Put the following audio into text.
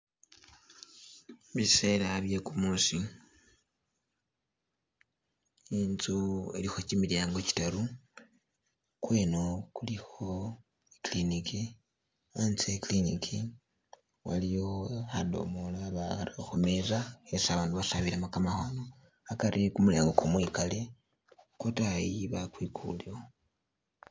Bisela bye gumuusi inzu ilikho gimilyango gitaru, gweno gulikho e'clinic hatse he clinic waliwo khadomolo bakhara khumeza khesi abandu basabilamo gamakhono, hagari gumulyango gumwigale gwodayi bwagwigalewo